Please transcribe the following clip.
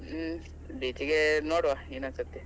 ಹ್ಮ್ beach ಗೆ ನೋಡುವ ಇನ್ನೊಂದ್ ಸತ್ತಿ.